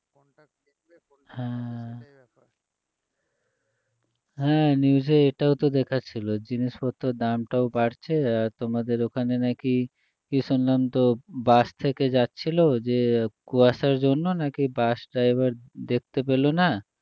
হ্যাঁ news এ এটাও তো দেখাচ্ছিল জিনিসপত্রের দামটাও বাড়ছে আর তোমাদের ওখানে নাকি কী শুনলাম তো বাস থেকে যাচ্ছিল যেয়ে কুয়াশার জন্য নাকি বাস driver দেখতে পেল না